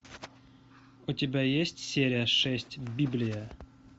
у тебя есть серия шесть библия